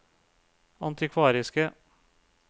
antikvariske